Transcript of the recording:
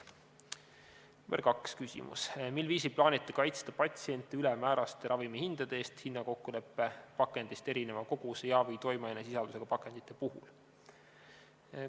Küsimus nr 2: "Mil viisil plaanite kaitsta patsiente ülemääraste ravimihindade eest hinnakokkuleppe pakendist erineva koguse ja/või toimeainesisaldusega pakendite puhul?